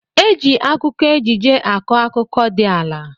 Eji akụkọ ejije akọ akụkọ di ala.